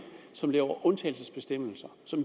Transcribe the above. som laver undtagelsesbestemmelser og